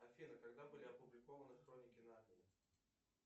афина когда были опубликованы хроники нарнии